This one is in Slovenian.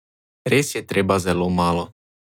Res je treba zelo malo!